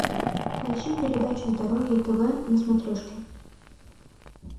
поищи передачу здоровье тв на смотрешке